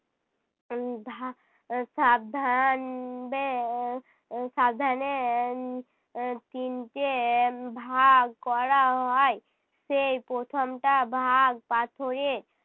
সাবধান উহ বে উহ সাবধানে উহ তিনটে ভাগ করা হয়। সেই প্রথমটা ভাগ পাথরের।